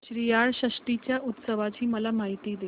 श्रीयाळ षष्टी च्या उत्सवाची मला माहिती दे